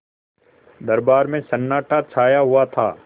दरबार में सन्नाटा छाया हुआ था